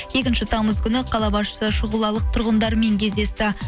екінші тамыз күні қала басшысы шұғылалық тұрғындармен кездесті